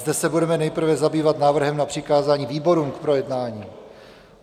Zde se budeme nejprve zabývat návrhem na přikázání výborům k projednání.